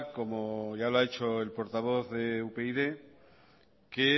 como ya lo ha hecho el portavoz de upyd que